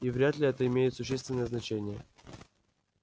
и вряд ли это имеет существенное значение